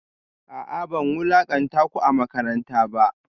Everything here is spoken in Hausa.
A'a ban wulakanta ku a makaranta ba